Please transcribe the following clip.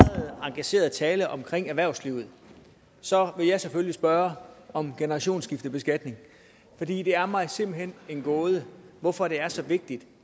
engageret tale om erhvervslivet så vil jeg selvfølgelig spørge om generationsskiftebeskatning for det er mig simpelt hen en gåde hvorfor det er så vigtigt